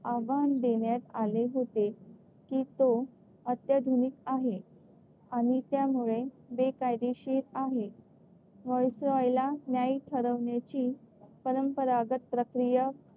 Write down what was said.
आव्हान देण्यात आले होते की तो अत्याधुनिक आहे आणि त्यामुळे बेकायदेशीर आहे. व्हाईसरॉयला न्याय ठरवण्याची परंपरागत प्रक्रिया,